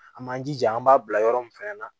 An m'an jija an b'a bila yɔrɔ min fɛnɛ na